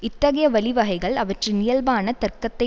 இத்தகைய வழிவகைகள் அவற்றின் இயல்பான தர்க்கத்தை